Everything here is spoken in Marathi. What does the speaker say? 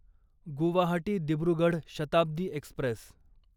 गुवाहाटी दिब्रुगढ शताब्दी एक्स्प्रेस